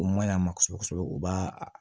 O maɲa ma kosɛbɛ kosɛbɛ u b'a a